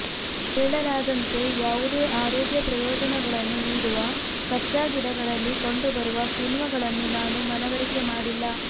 ಹೇಳಲಾದಂತೆ ಯಾವುದೇ ಆರೋಗ್ಯ ಪ್ರಯೋಜನಗಳನ್ನು ನೀಡುವ ಕಚ್ಚಾ ಗಿಡಗಳಲ್ಲಿ ಕಂಡುಬರುವ ಕಿಣ್ವಗಳನ್ನು ನಾನು ಮನವರಿಕೆ ಮಾಡಿಲ್ಲ